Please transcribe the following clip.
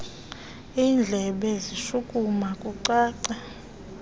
indlebe zishukuma kucaca